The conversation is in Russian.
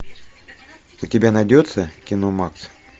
у тебя найдется кино макс